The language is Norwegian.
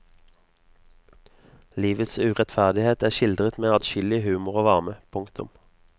Livets urettferdighet er skildret med adskillig humor og varme. punktum